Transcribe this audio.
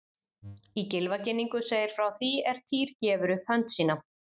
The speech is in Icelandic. Í Gylfaginningu segir frá því er Týr gefur upp hönd sína:.